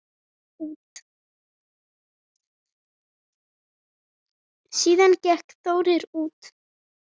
Síðan gekk Þórir út.